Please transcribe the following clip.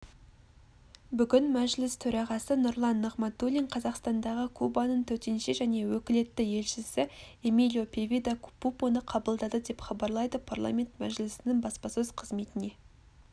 бүгін мәжіліс төрағасы нұрлан нығматулин қазақстандағы кубаның төтенше және өкілетті елшісі эмилио певида пупоны қабылдады деп хабарлайды парламент мәжілісінің баспасөз қызметіне